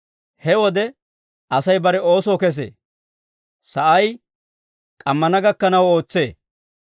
He wode Asay bare oosoo kesee; sa'ay k'ammana gakkanaw ootsee.